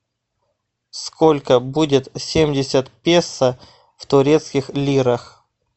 сколько будет семьдесят песо в турецких лирах